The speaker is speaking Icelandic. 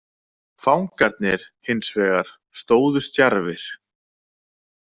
Fangarnir, hins vegar, stóðu stjarfir.